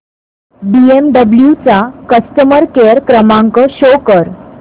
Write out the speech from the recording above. BMW चा customer care क्रमांक show कर